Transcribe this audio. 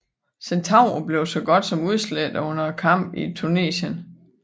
Centauro blev så godt som udslette under kampene i Tunesien